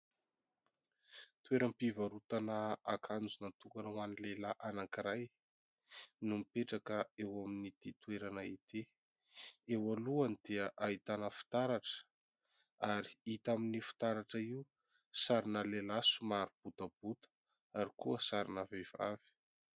Toeram-pivarotana akanjo natokana ho an'ny lehilahy anankiray no mipetraka eo amin'ity toerana ity. Eo alohany dia ahitana fitaratra, ary hita amin'io fitaratra io : sarina lehilahy somary botabota, ary koa sarina vehivavy.